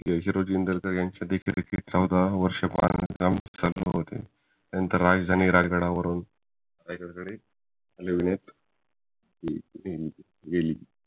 होरोजी इंदरकर यांच्या देखील चौदा वर्षे बांधकाम चालू होते नंतर राजधानी रायगडावरून